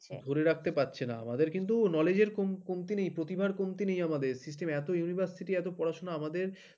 ধরে রাখতে পারছে না আমাদের কিন্তু knowledge কম কমতি নেই প্রতিভার কমতি নেই আমাদের system এত university পড়াশোনা আমাদের